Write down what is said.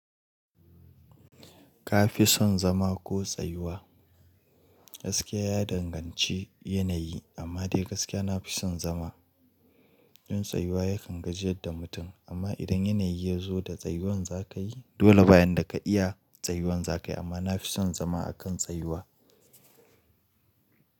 Ka fi son zama ko tsayuwa? Gaskiya ya danganci yanayi amma dai gaskiya nafi son zama. In tsayuwa ya kan gajiye da mutum amma idan yanayi ya zo da tsayuwan za ka yi dole bayan da ka iya tsayuwan za ka yi amma nafi son zama a kan tsayuwa.